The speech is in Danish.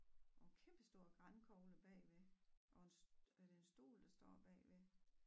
Kæmpe stor grankogle bagved og er det en stol der står bagved?